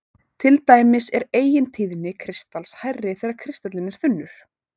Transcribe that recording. Til dæmis er eigintíðni kristals hærri þegar kristallinn er þunnur.